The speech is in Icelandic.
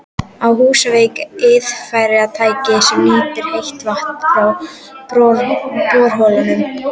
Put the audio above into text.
Á Húsavík eru iðnfyrirtæki sem nýta heita vatnið frá borholunum.